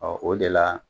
Ɔ o de la